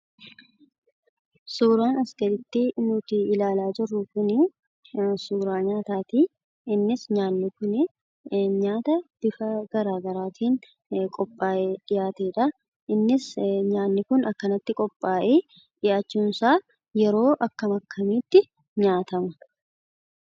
Suuraan as gaditti nuti ilaalaa jirru kunii suuraa nyaataatii. Innis nyaatni kunii nyaata bifaa garaa garaatiin qophaa'ee dhiyaateedha. Innis nyaanni kun akkanatti qophaa'ee dhiyaachuunsaa yeroo akkam akkamiitti nyaatama?